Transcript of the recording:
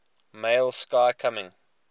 male sky coming